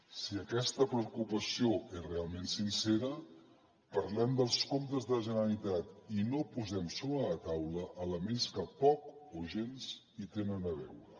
si aquesta preocupació és realment sincera parlem dels comptes de la generalitat i no posem sobre la taula elements que poc o gens hi tenen a veure